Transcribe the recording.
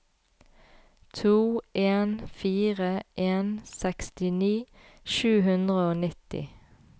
to en fire en sekstini sju hundre og nitti